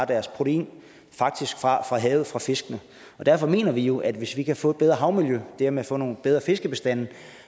deres protein fra havets fisk derfor mener vi jo at hvis vi kan få et bedre havmiljø og dermed få nogle bedre fiskebestande